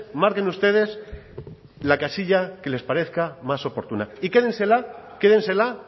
marquen ustedes la casilla que les parezca más oportuna y quédensela quédensela